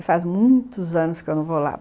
E faz muitos anos que eu não vou lá.